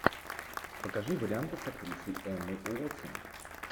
покажи варианты с актрисой эммой уотсон